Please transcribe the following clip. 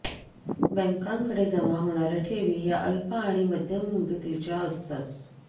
बँकांकडे जमा होणार्या ठेवी या अल्प आणि मध्यम मुदतीच्या असतात